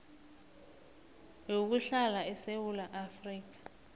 yokuhlala esewula afrika